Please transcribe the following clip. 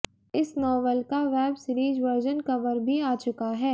इस नॉवल का web series version cover भी आ चुका है